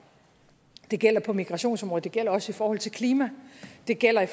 det gælder på migrationsområdet det gælder også i forhold til klima det gælder i